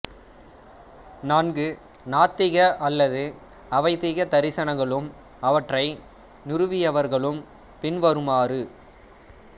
நான்கு நாத்திக அல்லது அவைதிக தரிசனங்களும் அவற்றை நிறுவியவர்களும் பின்வருமாறு